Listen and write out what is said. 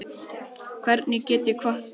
Hvernig get ég kvatt þig?